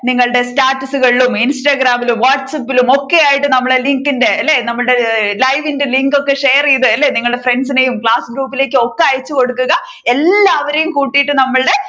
നിങ്ങളുടെ status കളിലും instagram ലും whatsapp ലും ഒക്കെ ആയിട്ട് നമ്മുടെ link ന്റെ അല്ലെ നമ്മുടെ live ന്റെ link ഒക്കെ ചെയ്‌ത്‌ അല്ലെ നിങ്ങളുടെ friends നെയും ക്ലാസ് group ലേക്കും ഒക്കെ അയച്ചു കൊടുക്കുക എല്ലാവരെയും കൂട്ടിയിട്ടു നമ്മളുടെ